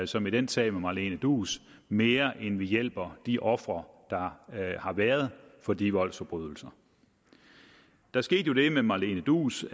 som i den sag med malene duus mere end vi hjælper de ofre der har været for de voldsforbrydelser der skete jo det med malene duus